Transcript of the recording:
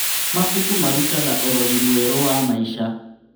Mabuku marutaga ũrori mwerũ wa maica.